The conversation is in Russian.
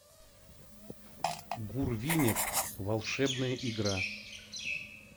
гурвинек волшебная игра